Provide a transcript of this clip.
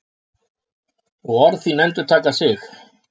Og orð þín endurtaka sig.